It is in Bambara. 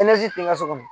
ti n ka so minɛ